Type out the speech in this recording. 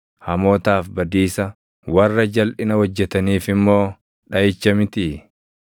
Hamootaaf badiisa, warra jalʼina hojjetaniif immoo dhaʼicha mitii?